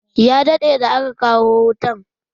Ya daɗe da aka kawo wutan.